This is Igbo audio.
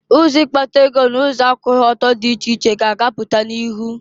Ụzọ ikpata ego n'ụzọ akwụghị ọtọ dị iche iche ka a ga-apụta n'ihụ.